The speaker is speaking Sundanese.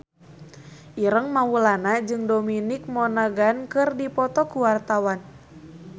Ireng Maulana jeung Dominic Monaghan keur dipoto ku wartawan